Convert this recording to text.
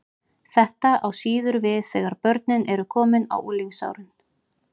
Þetta á ekki síður við þegar börnin eru komin á unglingsárin.